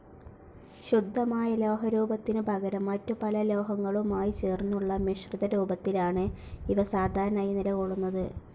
ശുദ്ധമായ ലോഹരൂപത്തിനു പകരം മറ്റുപല ലോഹങ്ങളുമായി ചേർന്നുള്ള മിശ്രിതരൂപത്തിലാണ് ഇവ സാധാരണയായി നിലകൊള്ളുന്നത്.